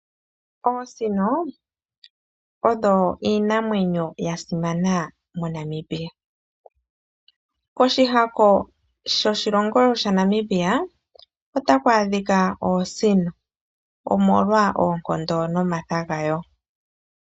Oosino odho iinamwenyo yasimana moNamibia, koshihako shoshilongo shaNamibia otaku adhika oosino omolwa oonkondo nomatha gadho.